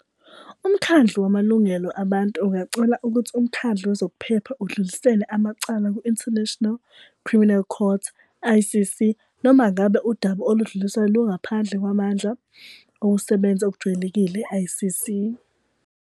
UMkhandlu wamalungelo abantu ungacela ukuthi uMkhandlu Wezokuphepha udlulisele amacala ku-International Criminal Court, ICC, noma ngabe udaba oludluliswayo lungaphandle kwamandla okusebenza okujwayelekile e-ICC.